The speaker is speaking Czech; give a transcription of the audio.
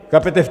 Chápete?